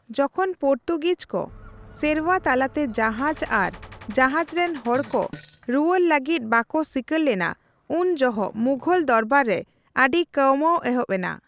ᱡᱚᱠᱷᱚᱱ ᱯᱚᱨᱛᱩᱜᱤᱡᱽ ᱠᱚ ᱥᱮᱨᱣᱟ ᱛᱟᱞᱟᱛᱮ ᱡᱟᱦᱟᱡᱽ ᱟᱨ ᱡᱟᱦᱟᱡᱽ ᱨᱮᱱ ᱦᱚᱲ ᱠᱚ ᱨᱩᱣᱟᱹᱲ ᱞᱟᱹᱜᱤᱫ ᱵᱟᱠᱚ ᱥᱤᱠᱟᱹᱨ ᱞᱮᱱᱟ, ᱩᱱ ᱡᱚᱦᱚᱜ ᱢᱩᱜᱷᱚᱞ ᱫᱚᱨᱵᱟᱨᱨᱮ ᱟᱹᱰᱤ ᱠᱟᱹᱣᱢᱟᱹᱣ ᱮᱦᱚᱵ ᱮᱱᱟ ᱾